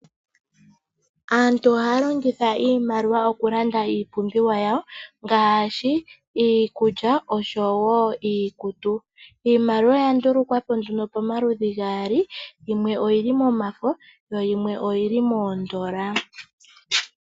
Aantu ohaya longitha iimaliwa okulanda iipumbiwa yayo ngaashi iikulya oshowo iikutu. Iimaliwa oya ndulukwa po nduno pamaludhi gaali yimwe oyili momafo yimwe oyili moondola.